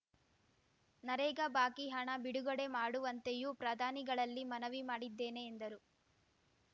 ನರೇಗಾ ಬಾಕಿ ಹಣ ಬಿಡುಗಡೆ ಮಾಡುವಂತೆಯೂ ಪ್ರಧಾನಿಗಳಲ್ಲಿ ಮನವಿ ಮಾಡಿದ್ದೇನೆ ಎಂದರು